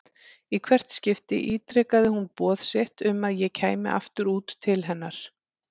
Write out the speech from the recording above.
Í hvert skipti ítrekaði hún boð sitt um að ég kæmi aftur út til hennar.